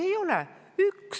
Ei ole!